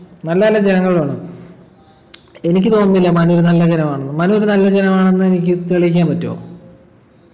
നല്ല നല്ല ജനങ്ങൾ വേണം എനിക്ക് തോന്നുന്നില്ല മനു നല്ല ജനമാണെന്നു മനുവിന് നല്ല ജനമാണെന്ന് എനിക്ക് തെളിയിക്കാൻ പറ്റൊ